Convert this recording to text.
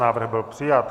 Návrh byl přijat.